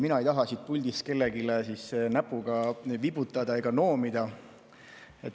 Mina ei taha siit puldist kellelegi näpuga vibutada ega noomida.